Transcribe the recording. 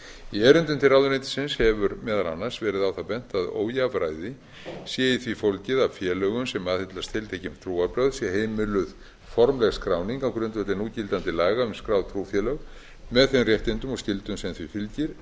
í erindum til ráðuneytisins hefur meðal annars verið á það bent að ójafnræði sé í því fólgið að félögum sem aðhyllast tiltekin trúarbrögð sé heimiluð formleg skráning á grundvelli núgildandi laga um skráð trúfélög með þeim réttindum og skyldum sem því fylgir en